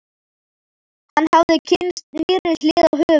Hann hafði kynnst nýrri hlið á höfuðborginni.